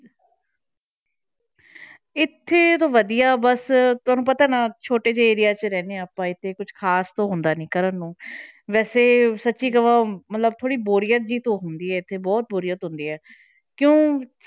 ਇੱਥੇ ਤਾਂ ਵਧੀਆ ਬਸ ਤੁਹਾਨੂੰ ਪਤਾ ਨਾ ਛੋਟੇ ਜਿਹੇ area 'ਚ ਰਹਿੰਦੇ ਹਾਂ ਆਪਾਂ ਇੱਥੇ ਕੁਛ ਖ਼ਾਸ ਤਾਂ ਹੁੰਦਾ ਨੀ ਕਰਨ ਨੂੰ ਵੈਸੇ ਸੱਚੀ ਕਵਾਂ ਮਤਲਬ ਥੋੜ੍ਹੀ ਬੋਰੀਅਤ ਜਿਹੀ ਤਾਂ ਹੁੰਦੀ ਹੈ ਇੱਥੇ ਬਹੁਤ ਬੋਰੀਅਤ ਹੁੰਦੀ ਹੈ ਕਿਉਂ